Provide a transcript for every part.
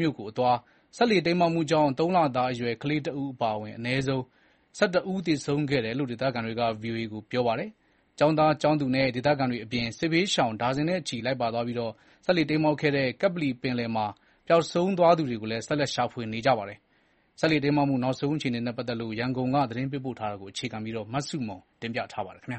မြို့ကိုသွားမယ့် စက်လှေတိမ်းမှောက်မှုမှာ ၃ လသားအရွယ် ကလေးတဦး အပါအဝင် ၁၁ ဦးသေဆုံးခဲ့တယ်လို့ ဒေသခံတွေက ဗွီအိုအေကို ပြောပါတယ်။ အဲဒီ့တိမ်းမှောက်သွားတဲ့စက်လှေမှာ ကျောင်းသား၊ ကျောင်းသူနဲ့ ဒေသခံတွေအပြင် စစ်ဘေးရှောင်သူ အားလုံးပေါင်း ၉၀ ဝန်းကျင်ပါဝင်ပြီးတော့ ပျောက်ဆုံးသူတွေကို ဆက်ပြီးရှာဖွေနေတယ်လို့ သိရပါတယ်။ စက်လှေတိမ်းမှောက်တဲ့ နောက်ဆုံးအခြေအနေ ရန်ကုန်ကနေ သတင်းပေးပို့ထားပါတယ်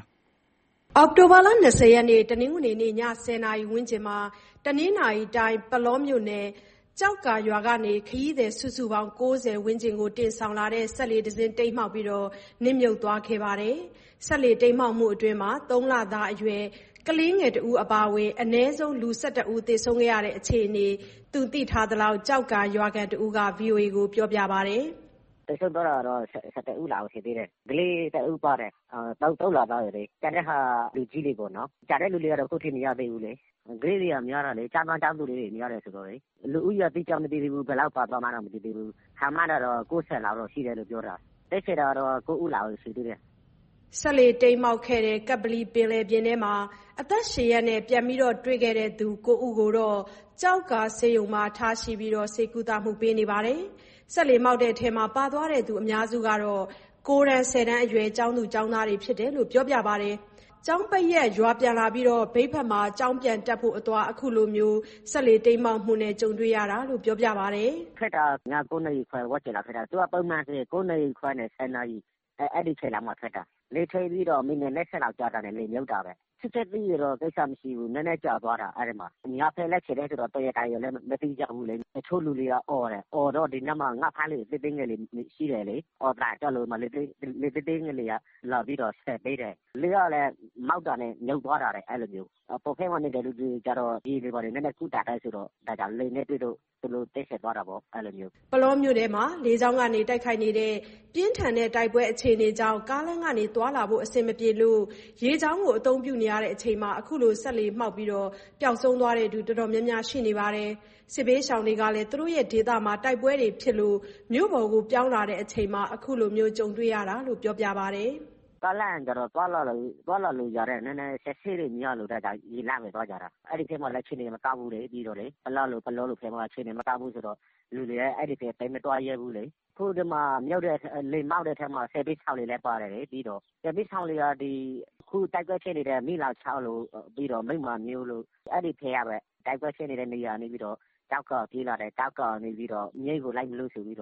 ။ အောက်တိုဘာလ ၂၀၊ တနင်္ဂနွေနေ့ ည ၁၀ နာရီဝန်းကျင်မှာ တနင်္သာရီတိုင်း၊ ပုလောမြို့နယ်၊ ကျောက္ကာရွာကနေ ခရီးသည်စုစုပေါင်း ၉၀ ဝန်းကျင်ကို တင်ဆောင်လာတဲ့ စက်လှေတစီးမှောက်ပြီးတော့ နစ်မြုပ်သွားခဲ့ပါတယ်။ စက်လှေတိမ်းမှောက်မှုအတွင်း ၃ လသားအရွယ် ကလေးတဦး အပါအဝင် အနည်းဆုံး လူ ၁၁ ဦး သေဆုံးခဲ့ရတဲ့အခြေအနေ သူသိထားသလောက် ကျောက္ကာရွာခံတဦးက ဗွီအိုအေကို ပြောပါတယ်။ "သေဆုံးသွားတာတော့ ၁၁ ဦးရှိတယ်။ ၃ လသားအရွယ် ကလေးတဦးပါတယ်။ ကျန်တဲ့ဟာက လူကြီးတွေပေါ့။ ကျန်တဲ့လူတွေကတော့ အခုထိ မရသေးဘူးလေ။ ကလေးတွေများတယ်။ ကျောင်းသား၊ ကျောင်းသူတွေ များတယ်ဆိုတော့လေ။ လူဦးရေက အတိအကျ မသိသေးဘူး။ ဘယ်လောက်ပါသွားမှန်း မသိသေးဘူး။ ခန့်မှန်းတာတော့ ၉၀ လောက်ရှိတယ်။ အသက်ရှင်တာကတော့ ၉ ဦးလောက်ပဲ ရှိသေးတယ်။" အသက်ရှင်လျက် ပြန်တွေ့သူ ၉ ဦးကိုတော့ ကျောက္ကာဆေးရုံမှာ ထားရှိကုသပေးနေပါတယ်။ စက်လှေမှောက်တဲ့အထဲ ပါသွားသူအများစုက ၉ တန်း၊ ၁၀ တန်းအရွယ် ကျောင်းသား၊ ကျောင်းသူတွေဖြစ်တယ်လို့ ပြောပါတယ်။ ကျောင်းပိတ်ရက် ရွာပြန်လာပြီး၊ မြိတ်မှာ ကျောင်းပြန်တက်ဖို့အသွား အခုလို ကြုံတွေ့ရတာလို့ ပြောပါတယ်။ "ထွက်တာက ည ၉ နာရီခွဲ ဝန်းကျင်လောက်ထွက်တာ။ သူက ပုံမှန်ဆိုရင် ည ၉ နာရီခွဲကနေ ၁၀ နာရီ အဲဒီအချိန်လောက်မှာ ထွက်တာ။ လှေထွက်ပြီးတော့ မိနစ် ၂၀ လောက်ကြာတာနဲ့ လှေမြုပ်တာပဲ။ ချက်ချင်းသိရင်တော့ ကိစ္စမရှိဘူး။ နည်းနည်းကြာသွားတာ အဲဒီမှာ။ ညဘက်လည်း ဖြစ်တယ်ဆိုတော့ တော်ရုံတန်ရုံလည်း မသိကြဘူးလေ။ တချို့လူတွေက အော်တယ်။ အော်တော့ ဒီနားမှာ ငါးဖမ်းလှေ သေးသေးငယ်တွေ ရှိတယ်လေ။ အော်သံကြားလို့ လှေသေးသေးငယ်တွေက လာပြီးတော့ဆယ်ပေးတယ်။ လှေကလည်း မှောက်တာနဲ့ မြုပ်သွားတာတဲ့။ အပေါ်ထပ်မှာနေတဲ့ လူတွေကတော့ ရေနည်းနည်းပါးပါး ကူးတတ်တယ်ဆိုတော့ လှေနဲ့တွေ့လို့ သူတို့ အသက်ရှင်သွားတာပေါ့။" ပုလောမြို့ထဲ လေကြောင်းကနေပါ တိုက်ခိုက်နေတဲ့ ပြင်းထန်နေတဲ့ တိုက်ပွဲအခြေအနေကြောင့် ကားလမ်းကနေ သွားလာဖို့ အဆင်မပြေလို့ ရေကြောင်းကို အသုံးပြုချိန်မှာ အခုလို စက်လှေမှောက်ပြီး ပျောက်ဆုံးသူတော်တော်များများ ရှိနေတာပါ။ စစ်ဘေးရှောင်တွေကလည်း သူတို့ရဲ့ဒေသမှာ တိုက်ပွဲဖြစ်လို့ မြို့ပေါ်ပြောင်းချိန်မှာ အခုလို ကြုံတွေ့ရတာလို့ ပြောပါတယ်။ "ကားလမ်းက သွားလာလို့ရတယ်။ နည်းနည်း အစစ်အဆေးများလို့ ရေလမ်းကပဲ သွားကြတာ။ အဲဒီဘက်မှာလည်း အခြေအနေတွေက မကောင်းဘူးလေ။ ပလတို့၊ ပုလောတို့ဘက်မှာ အခြေအနေ မကောင်းဘူးဆိုတော့ လူတွေက အဲဒီဘက် သိပ်မသွားရဲဘူးလေ။ အခု လှေမှောက်တဲ့အထဲမှာ စစ်ဘေးရှောင်တွေလည်း ပါတယ်။ စစ်ဘေးရှောင်တွေက အခုတိုက်ပွဲဖြစ်နေတဲ့ မီးလောင်ချောင်းတို့၊ မိန်းမမြို့တို့ အဲဒီဘက်ကပဲ။ တိုက်ပွဲဖြစ်တဲ့ နေရာကနေပြီးတော့ ကျောက္ကာကိုပြေးလာတယ်။ ကျောက္ကာကနေ မြိတ်ကိုလိုက်မလို့ဆိုပြီး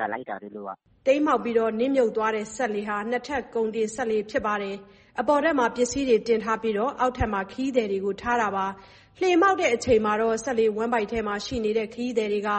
လာလိုက်တာ သူတို့က။" မှောက်ပြီးနစ်မြုပ်သွားတဲ့ စက်လှေဟာ ၂ထပ်ကုန်တင်စက်လှေ ဖြစ်တယ်လို့ ပြောပါတယ်။ အပေါ်ထပ်မှာ ပစ္စည်းတွေတင်ပြီးတော့ အောက်ထပ်မှာ ခရီးသည်တွေကို ထားတာပါ။ လှေမှောက်တဲ့အချိန်မှာ စက်လှေဝမ်းဗိုက်မှာရှိတဲ့ ခရီးသည်တွေ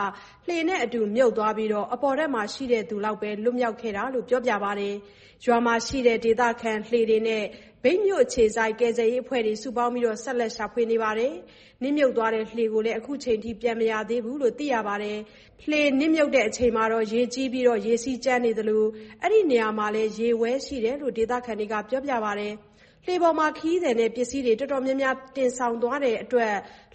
လှေနဲ့အတူ မြုပ်သွားပြီး၊ အပေါ်ထပ်မှာ ရှိသူတွေလောက်သာ လွတ်လာတာလို့ ပြောပါတယ်။ ရွာမှာရှိတဲ့ ဒေသခံလှေတွေနဲ့ မြိတ်မြို့အခြေစိုက် ကယ်ဆယ်ရေးအဖွဲ့တွေ စုပေါင်းပြီး ဆက်လက်ရှာဖွေနေတယ်လို့ ပြောပါတယ်။ နစ်မြုပ်သွားတဲ့ လှေကိုလည်း အခုချိန်ထိ ပြန်မရသေးဘူးလို့ သိရပါတယ်။ လှေမြုပ်ချိန်မှာ ရေကြီးပြီး၊ ရေစီးကြမ်းသလို အဲဒီနေရာမှာလည်း ရေဝဲရှိတယ်လို့ ဒေသခံတွေက ပြောပါတယ်။ လှေပေါ်မှာ ခရီးသည်နဲ့ ပစ္စည်းတွေ တော်တော်များများ တင်ဆောင်နေလို့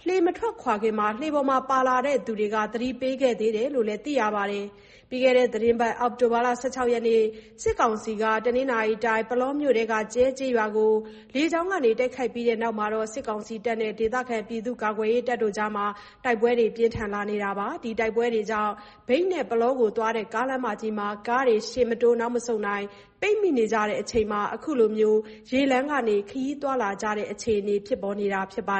လှေမထွက်ခင်မှာ လှေပေါ်ပါလာသူတွေက သတိပေးခဲ့တယ်လို့လည်း သိရပါတယ်။ ပြီးခဲ့တဲ့သီတင်းပတ် အောက်တိုဘာလ ၁၆ ရက်နေ့ ကစစ်ကောင်စီတပ်ဘက်က တနင်္သာရီတိုင်း ပုလောမြို့နယ်အတွင်းက ကြဲကျေးရွာကို စစ်ကောင်စီက လေကြောင်းကနေ တိုက်ခိုက်ခဲ့ပြီးတဲ့နောက် စစ်တပ်နဲ့ ဒေသခံပြည်သူ့ကာကွယ်ရေးတပ်တွေကြား တိုက်ပွဲတွေ ပြင်းထန်လာတာကြောင့် မြိတ်နဲ့ ပုလောသွားတဲ့ ကားလမ်းမကြီးမှာ ကားတွေ ရှေ့မတိုး နောက်မဆုတ်နိုင်နဲ့ ပိတ်မိနေကြတဲ့အချိန် အခုလို ရေလမ်းကနေ ခရီးသွားလာနေကြရတဲ့အခြေအနေဖြစ်ပေါ်နေတာပါ